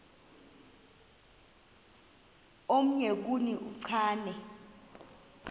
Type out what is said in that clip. omnye kuni uchane